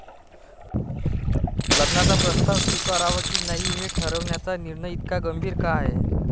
लग्नाचा प्रस्ताव स्वीकारावा की नाही हे ठरवण्याचा निर्णय इतका गंभीर का आहे?